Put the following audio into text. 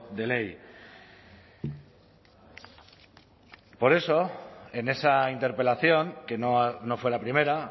de ley por eso en esa interpelación que no fue la primera